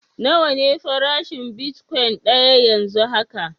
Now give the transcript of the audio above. Nawa ne farashin bitkwain daya yanzu haka?